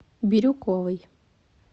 бирюковой